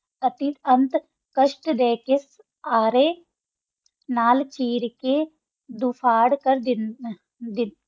ਅਸੀਂ ਅੰਤ ਕਾਸ਼ਤ ਦਾ ਕਾ ਆ ਰਹਾ ਸਨ ਨਾਲ ਕਿਰ ਕਾ ਦੋਖਰ ਕਰ ਦਾਨਾ ਸ